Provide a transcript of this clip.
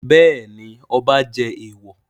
Bẹ́ẹ̀ ni, ọba jẹ èèwọ̀.